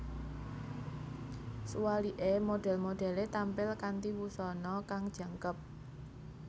Suwalike modhel modele tampil kanthi wusana kang jangkep